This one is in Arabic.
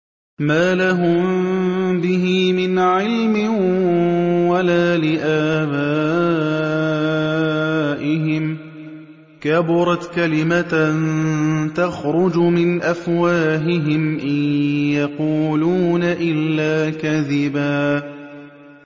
مَّا لَهُم بِهِ مِنْ عِلْمٍ وَلَا لِآبَائِهِمْ ۚ كَبُرَتْ كَلِمَةً تَخْرُجُ مِنْ أَفْوَاهِهِمْ ۚ إِن يَقُولُونَ إِلَّا كَذِبًا